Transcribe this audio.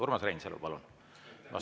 Urmas Reinsalu, palun!